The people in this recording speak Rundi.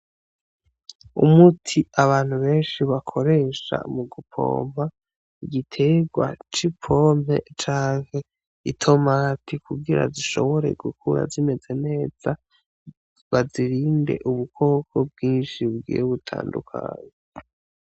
Umuti abantu benshi bakoresha mu gupompa igiterwa c'i pome canke itomati kugira zishobore gukura zimeze neza, bazirinde ubukoko bwinshi bigiye butandukanye.